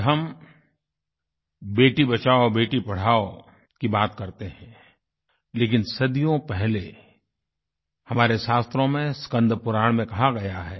आज हम बेटी बचाओ बेटी पढ़ाओ की बात करते हैं लेकिन सदियों पहले हमारे शास्त्रों मेंस्कन्दपुराण मेंकहा गया है